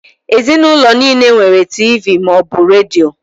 Ezinụlọ nile nwere Tiivii ma ọ bu redio.